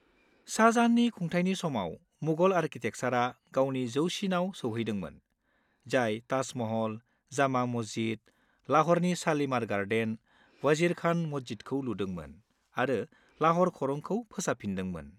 -शाहजहाननि खुंथायनि समाव मुगल आरकिटेकचारआ गावनि जौसिनाव सौहैदोंमोन, जाय ताज महल, जामा मस्जिद, लाह'रनि शालिमार गार्डेन, वजीर खान मस्जिदखौ लुदोंमोन आरो लाह'र खरंखौ फोसाबफिनदोंमोन।